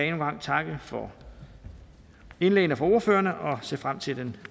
en gang takke for indlæggene fra ordførerne og ser frem til den